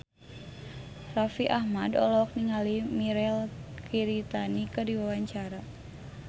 Raffi Ahmad olohok ningali Mirei Kiritani keur diwawancara